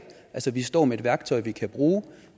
vi står med et værktøj vi kan bruge